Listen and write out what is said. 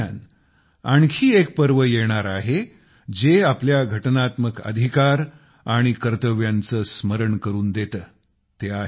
याच दरम्यान आणखी एक पर्व येणार आहे जे आपल्या घटनात्मक अधिकार आणि कर्तव्यांचे स्मरण करून देते